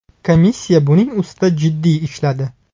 Komissiya buning ustida jiddiy ishladi.